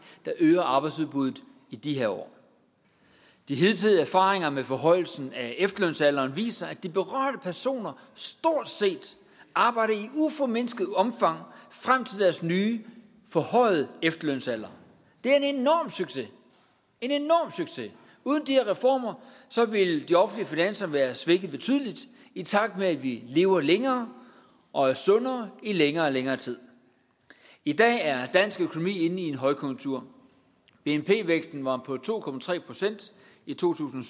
der øger arbejdsudbuddet i de her år de hidtidige erfaringer med forhøjelsen af efterlønsalderen viser at de berørte personer stort set arbejder i uformindsket omfang frem til deres nye forhøjede efterlønsalder det er en enorm succes uden de her reformer ville de offentlige finanser være svækket betydeligt i takt med at vi lever længere og er sundere i længere og længere tid i dag er dansk økonomi inde i en højkonjunktur bnp væksten var på to procent i to tusind